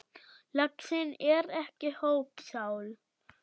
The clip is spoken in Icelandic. Laxinn er ekki hópsál.